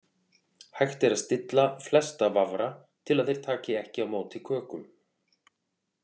Hægt er að stilla flesta vafra til að þeir taki ekki á móti kökum.